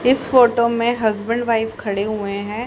इस फोटो में husband wife खड़े हुए हैं।